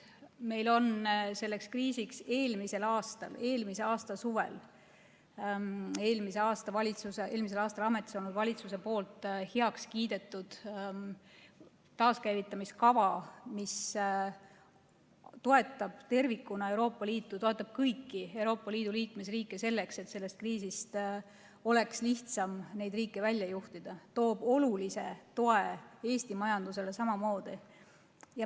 Meil on selleks kriisiks eelmisel aastal, eelmise aasta suvel, eelmisel aastal ametis olnud valitsuse heaks kiidetud taaskäivitamiskava, mis toetab tervikuna Euroopa Liitu, kõiki Euroopa Liidu liikmesriike selleks, et sellest kriisist oleks lihtsam neid riike välja juhtida ja toob olulist tuge Eesti majandusele samuti.